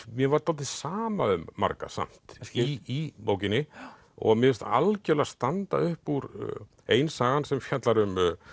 mér var dálítið sama um marga samt í bókinni og mér finnst algjörlega standa upp úr ein saga sem fjallar um